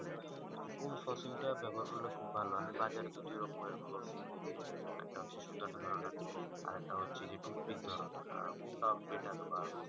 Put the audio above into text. কোন flossing তা ব্যবহার করলে খুব ভালো আমি বাজারে তো দু রকমের flossing দেখতে পাই যেমন একটা হচ্ছে যে সুতা তো ধরেন আরেক তা হচ্ছে যে টু টিক ধরণের কোনটা better বা